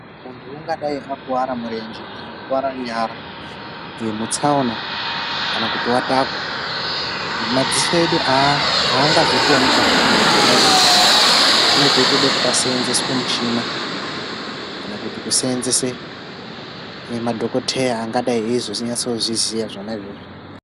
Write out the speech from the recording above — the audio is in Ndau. Munhu ungadayi akuwara murenje kana kukuwara nyara mutsaona kana kuti watakwa, madziso edu aangazvikoni kuzviona zvona izvozvo. Panenge peitode kuti pashandiswe michini kana kuti kuseenzesa madhokodheya anenge eitozviziya zvona izvozvo.